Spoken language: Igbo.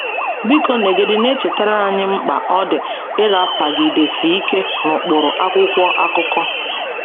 Biko nọgide na-echetara anyị mkpa ọ dị ịrapagidesi ike n’ụkpụrụ akwụkwọ akụkọ.